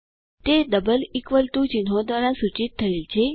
તે double equal to ચિહ્નો દ્વારા સૂચિત થયેલ છે